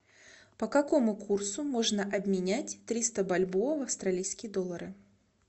по какому курсу можно обменять триста бальбоа в австралийские доллары